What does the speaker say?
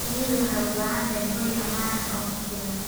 Shinnidu waxay u baahan tahay hoy ammaan ah oo ku filan.